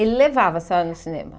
Ele levava a senhora no cinema?